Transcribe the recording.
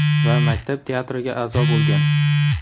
Va maktab teatriga a’zo bo‘lgan.